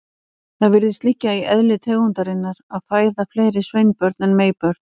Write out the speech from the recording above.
Það virðist liggja í eðli tegundarinnar að fæða fleiri sveinbörn en meybörn.